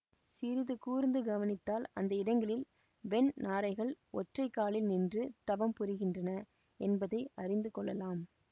சிறிது கூர்ந்து கவனித்தால் அந்த இடங்களில் வெண் நாரைகள் ஒற்றை காலில் நின்று தவம் புரிகின்றன என்பதை அறிந்து கொள்ளலாம்